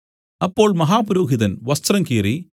അപ്പോൾ മഹാപുരോഹിതൻ വസ്ത്രം കീറി